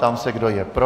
Ptám se, kdo je pro.